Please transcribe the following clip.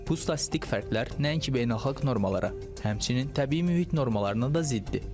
Bu statistik fərqlər nəinki beynəlxalq normalara, həmçinin təbii mühit normalarına da ziddir.